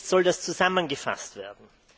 Jetzt soll das zusammengefasst werden.